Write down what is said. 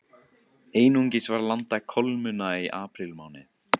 Einungis var landað kolmunna í aprílmánuði